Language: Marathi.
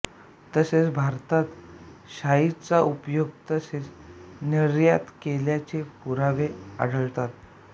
तसेच भारतात शाईचा उपयोग तसेच निर्यात केल्याचे पुरावे आढळतात